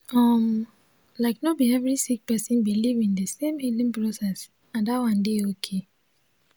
um like no bi every sik person biliv in di sem healing process and dat one dey okay